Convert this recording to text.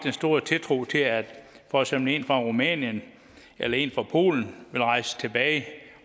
store tiltro til at for eksempel en fra rumænien eller en fra polen vil rejse tilbage